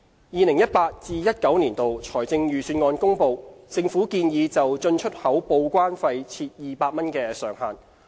2018-2019 年度財政預算案公布，政府建議就進出口報關費設200元上限。